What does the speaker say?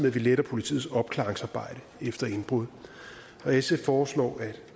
at vi letter politiets opklaringsarbejde efter indbrud og sf foreslår at